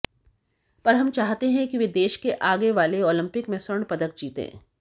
पर हम चाहते हैं कि वो देश के आगे वाल ओलंपिक में स्वर्ण पदक जीतें